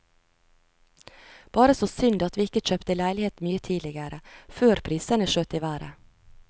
Bare så synd at vi ikke kjøpte leilighet mye tidligere, før prisene skjøt i været.